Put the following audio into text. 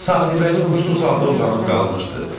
Sahibəli huşsuz halda uzanıb qalmışdı.